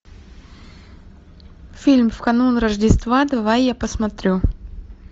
фильм в канун рождества давай я посмотрю